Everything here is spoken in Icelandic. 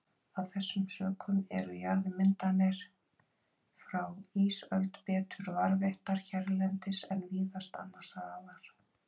Af þessum sökum eru jarðmyndanir frá ísöld betur varðveittar hérlendis en víðast annars staðar.